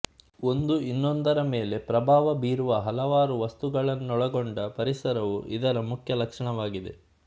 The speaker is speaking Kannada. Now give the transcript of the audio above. ಒಂದು ಇನ್ನೊಂದರ ಮೇಲೆ ಪ್ರಭಾವ ಬೀರುವ ಹಲವಾರು ವಸ್ತುಗಳನ್ನೂಳಗೊಂಡ ಪರಿಸರವು ಇದರ ಮುಖ್ಯ ಲಕ್ಷಣವಾಗಿದೆ